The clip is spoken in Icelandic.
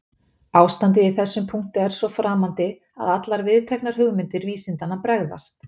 Ástandið í þessum punkti er svo framandi að allar viðteknar hugmyndir vísindanna bregðast.